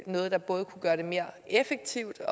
noget der kunne gøre det mere effektivt